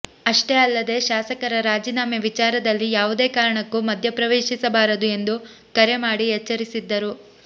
ಅಷ್ಟೇ ಅಲ್ಲದೇ ಶಾಸಕರ ರಾಜೀನಾಮೆ ವಿಚಾರದಲ್ಲಿ ಯಾವುದೇ ಕಾರಣಕ್ಕೂ ಮಧ್ಯಪ್ರವೇಶಿಸಬಾರದು ಎಂದು ಕರೆ ಮಾಡಿ ಎಚ್ಚರಿಸಿದ್ದರು